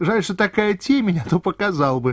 жаль что такая темень то показал бы